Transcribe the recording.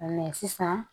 sisan